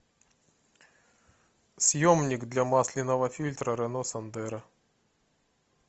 съемник для масляного фильтра рено сандеро